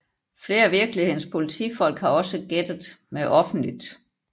Flere af virkelighedens politifolk har også gættet med offentligt